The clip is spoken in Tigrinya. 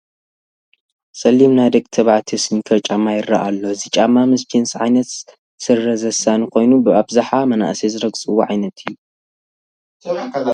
ፀሊም ናይ ደቂ ተባዕትዮ ስኒከር ጫማ ይርአ ኣሎ፡፡ እዚ ጫማ ምስ ጅንስ ዓይነት ስረ ዘሳኒ ኮይኑ ብኣብዝሓ መናእሰይ ዝረግፅዎ ዓይነት እዩ፡፡